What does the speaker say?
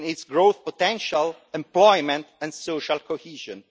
growth potential, employment and social cohesion.